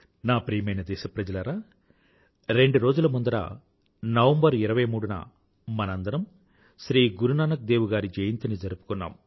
నా ప్రియమైన దేశప్రజలారా రెండు రోజుల ముందర నవంబర్ 23న మనందరమూ శ్రీ గురునానక్ దేవ్ గారి జయంతిని జరుపుకున్నాము